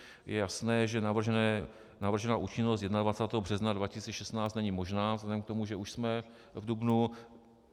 Je jasné, že navržená účinnost 21. března 2016 není možná vzhledem k tomu, že už jsme v dubnu.